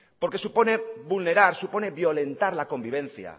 porque supone vulnerar supone violentar la convivencia